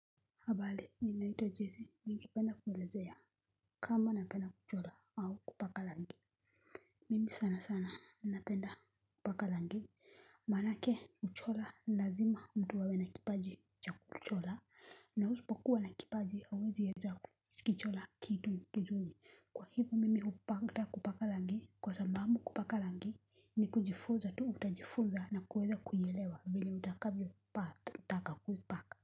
Habari, mimi naitwa Jesse. Ningependa kuelezea kama napenda kuchora au kupaka rangi mimi sana sana napenda kupaka rangi manake kuchora lazima mtu awe na kipaji cha kuchora na usipo kuwa na kipaji hauwezi weza kuchora kitu kizuri kwa hivo mimi hupenda kupaka rangi kwa sababu kupaka rangi ni kujifunza tu utajifuza na kuweza kuielewa vile utakavyo pata kutaka kuipaka.